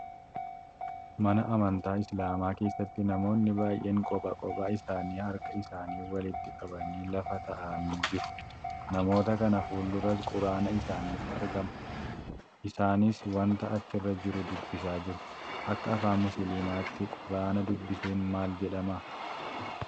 Mana amantaa islaamaa keessatti namoonni baay'een kopha kophaa isaanii harka isaanii walitti qabanii lafa taa'anii jiru. Namoota kana fulduras quraana isaaniitu argama. Isaanis wanta achirra jiru dubbisaa jiru. Akka afaan musliimaatti quraana dubbisuun maal jedhama?